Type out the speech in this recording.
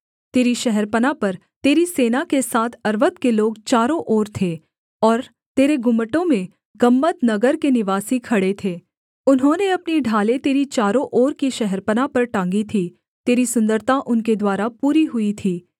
तेरी शहरपनाह पर तेरी सेना के साथ अर्वद के लोग चारों ओर थे और तेरे गुम्मटों में गम्‍मद नगर के निवासी खड़े थे उन्होंने अपनी ढालें तेरी चारों ओर की शहरपनाह पर टाँगी थी तेरी सुन्दरता उनके द्वारा पूरी हुई थी